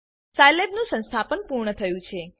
સાઈલેબનું સંસ્થાપન પૂર્ણ થયું છે